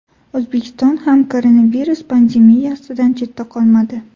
O‘zbekiston ham koronavirus pandemiyasidan chetda qolmadi.